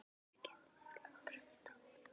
Við getum örugglega grætt á honum.